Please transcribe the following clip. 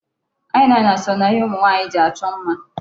Eye liner so na ihe ụmụ nwaanyị ji achọ mma.